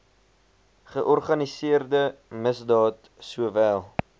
georganiseerde misdaad sowel